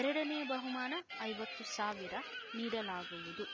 ಎರಡನೇ ಬಹುಮಾನ ಐವತ್ತು ಸಾವಿರ ನೀಡಲಾಗುವುದು